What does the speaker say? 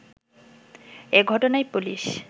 এ ঘটনায় পুলিশ